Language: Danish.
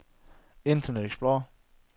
internet explorer